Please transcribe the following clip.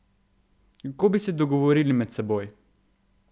Kako bi se bili dogovorili med seboj?